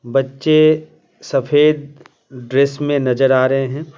बच्चे सफेद ड्रेस में नजर आ रहे हैं।